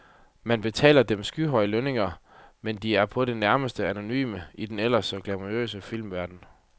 Man betaler dem skyhøje lønninger, men de er på det nærmeste anonyme i den ellers så glamourøse filmverden.